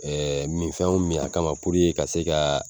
min fɛnw min a kama a ka se ka